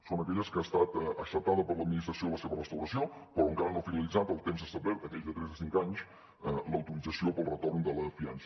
són aquelles en què ha estat acceptada per l’administració la seva restauració però en què encara no ha finalitzat el temps establert aquell de tres a cinc anys l’autorització per al retorn de la fiança